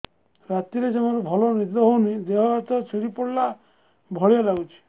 ରାତିରେ ଜମାରୁ ଭଲ ନିଦ ହଉନି ଦେହ ହାତ ଛିଡି ପଡିଲା ଭଳିଆ ଲାଗୁଚି